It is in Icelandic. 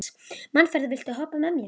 Manfreð, viltu hoppa með mér?